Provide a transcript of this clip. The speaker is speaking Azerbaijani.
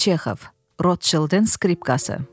Rotchildin skripkası.